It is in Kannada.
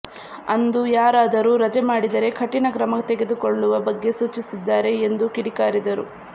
ಅಂದು ಯಾರಾದರೂ ರಜೆ ಮಾಡಿದರೇ ಕಠಿಣ ಕ್ರಮ ತೆಗೆದುಕೊಳ್ಳುವ ಬಗ್ಗೆ ಸೂಚಿಸಿದ್ದಾರೆ ಎಂದು ಕಿಡಿಕಾರಿದರು